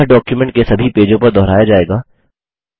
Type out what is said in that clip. यह डॉक्युमेंट के सभी पेजों पर दोहराया जायेगा